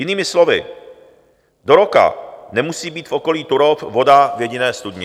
Jinými slovy, do roka nemusí být v okolí Turów voda v jediné studni.